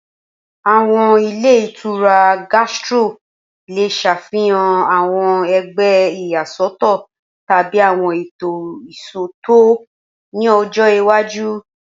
Awọn ilé ìtura Gastro le ṣafihan awọn ẹgbẹ iyasọtọ tabi awọn eto iṣootọ ni ọjọ iwaju